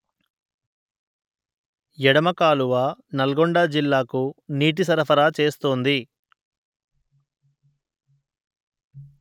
ఎడమ కాలువ నల్గొండ జిల్లాకు నీటి సరఫరా చేస్తుంది